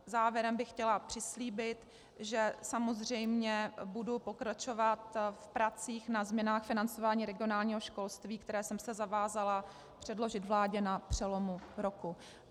Závěrem bych chtěla přislíbit, že samozřejmě budu pokračovat v pracích na změnách financování regionálního školství, které jsem se zavázala předložit vládě na přelomu roku.